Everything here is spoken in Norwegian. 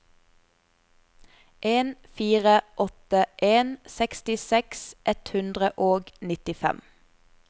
en fire åtte en sekstiseks ett hundre og nittifem